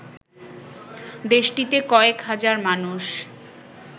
দেশটিতে কয়েক হাজার মানুষ